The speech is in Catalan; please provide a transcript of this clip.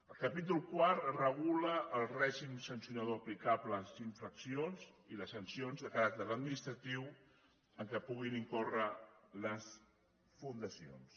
el capítol quart regula el règim sancionador aplicable a les infraccions i les sancions de caràcter administratiu en què puguin incórrer les fundacions